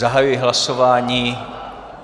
Zahajuji hlasování.